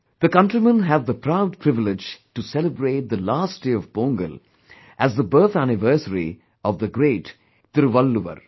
The countrymen have the proud privilege to celebrate the last day of Pongal as the birth anniversary of the great Tiruvalluvar